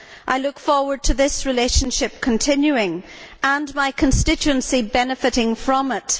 I look forward to this relationship continuing and my constituency benefiting from it.